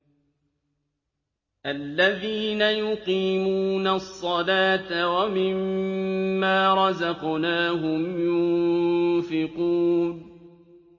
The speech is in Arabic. الَّذِينَ يُقِيمُونَ الصَّلَاةَ وَمِمَّا رَزَقْنَاهُمْ يُنفِقُونَ